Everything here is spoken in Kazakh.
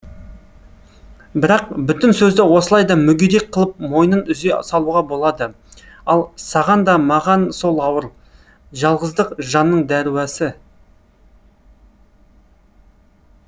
бірақ бүтін сөзді осылай да мүгедек қылып мойнын үзе салуға болады ал саған да маған сол ауыр жалғыздық жанның дәруасы